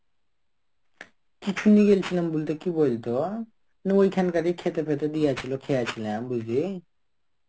কিছু নিয়ে গেছিলাম বলতে. কি বলতো. না ওইখানকারই খেতে ফেতে দিয়ে ছিল. খেয়া ছিলাম বুঝলি.